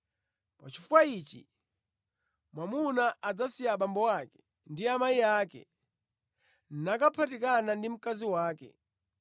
‘Pa chifukwa ichi mwamuna adzasiya abambo ake ndi amayi ake nakaphatikana ndi mkazi wake,